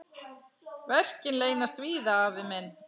Verkin leynast víða, afi minn.